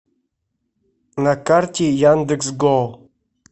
на карте яндекс гоу